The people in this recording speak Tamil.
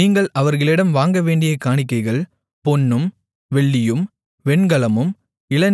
நீங்கள் அவர்களிடம் வாங்க வேண்டிய காணிக்கைகள் பொன்னும் வெள்ளியும் வெண்கலமும்